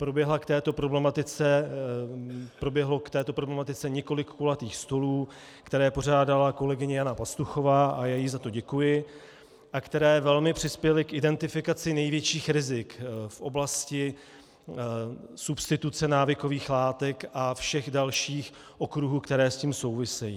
Proběhlo k této problematice několik kulatých stolů, které pořádala kolegyně Jana Pastuchová, a já jí za to děkuji, a které velmi přispěly k identifikaci největších rizik v oblasti substituce návykových látek a všech dalších okruhů, které s tím souvisejí.